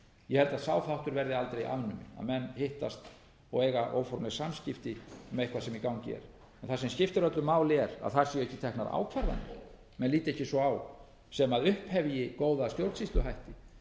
ég held að sá háttur verði aldrei afnuminn að menn hittast og eiga óformleg samskipti um eitthvað sem í gangi er en það sem skiptir öllu máli er að þar séu ekki teknar ákvarðanir menn líti ekki svo á sem upphefji góða stjórnsýsluhætti